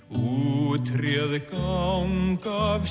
út réð ganga af